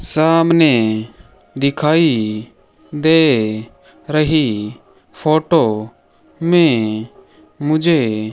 सामने दिखाई दे रही फोटो में मुझे--